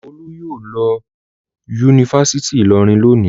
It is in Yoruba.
Olú yóò lọ Yunifásítì Ìlọrin lónìí.